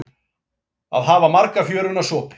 Að hafa marga fjöruna sopið